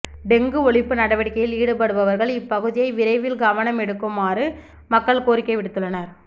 dengue ஒழிப்பு நடவடிக்கையில் ஈடுபடுபவர்கள் இப் பகுதியை விரைவில் கவனமெடுக்குமாறு மக்கள் கோரிக்கை விடுத்துள்ளனர்